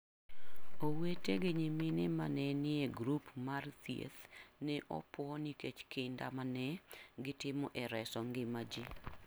Owete gi nyimine ma ne nie grup mar thieth ne opuo nikech kinda ma ne gitimo e reso ngima ji.